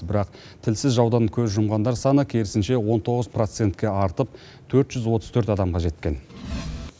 бірақ тілсіз жаудан көз жұмғандар саны керісінше он тоғыз процентке артып төрт жүз отыз төрт адамға жеткен